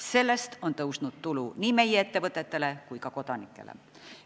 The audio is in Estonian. Sellest on tõusnud tulu nii meie ettevõtetele kui ka elanikele.